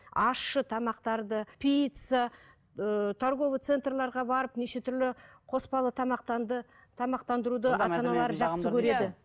ащы тамақтарды пицца ыыы торговый центрлерге барып неше түрлі қоспалы тамақтанды тамақтандыруды